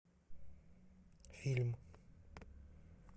фильм